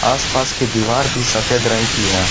आसपास की दीवार भी सफेद रंग की है।